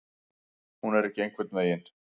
Hún er ekki einhvern veginn.